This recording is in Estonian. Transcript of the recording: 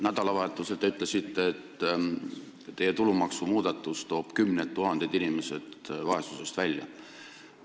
Nädalavahetusel te ütlesite, et teie tulumaksumuudatus toob kümned tuhanded inimesed vaesusest välja.